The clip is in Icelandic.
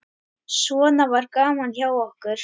Svona var gaman hjá okkur.